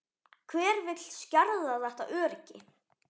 Hver vill skerða þetta öryggi?